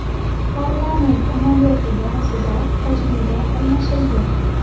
Parlament amaliyoti borasida tajriba almashildi.